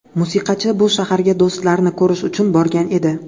Musiqachi bu shaharga do‘stlarini ko‘rish uchun borgan edi.